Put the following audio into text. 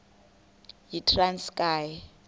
yitranskayi